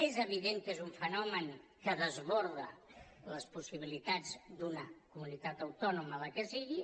és evident que és un fenomen que desborda les possibilitats d’una comunitat autònoma la que sigui